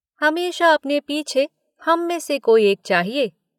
हमेशा अपने पीछे हम में से कोई एक चाहिए।